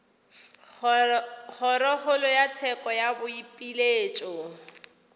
kgorokgolo ya tsheko ya boipiletšo